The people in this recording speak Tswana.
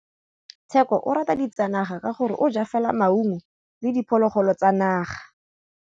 Tshekô o rata ditsanaga ka gore o ja fela maungo le diphologolo tsa naga.